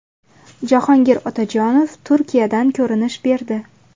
Jahongir Otajonov Turkiyadan ko‘rinish berdi.